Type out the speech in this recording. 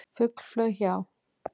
Fugl flaug hjá.